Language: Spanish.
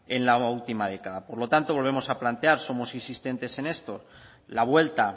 en la última década por lo tanto volvemos a platear somos insistentes en esto la vuelta